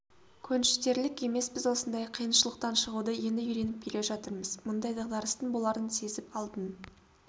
көншітерлік емес біз осындай қиыншылықтан шығуды енді үйреніп келе жатырмыз мұндай дағдарыстың боларын сезіп алдын